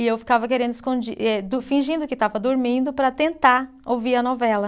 E eu ficava querendo escondi, eh do fingindo que estava dormindo para tentar ouvir a novela.